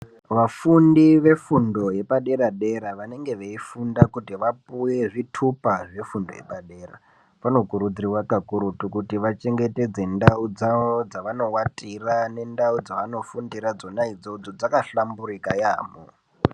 Vafundi vefundo yepadera dera, vanenge veifunda kuti vapuwe zvitupa zvefundo yepadera. Vanokurudzirwa kakurutu kuti vachengetedze ndau dzavo dzavanowatira, nendau dzevanofundira dzona idzodzo. Dzakahlamburika yaamho